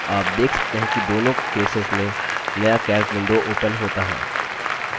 आप देख सकते हैं कि दोनों केसेस में नया calc window opens होता है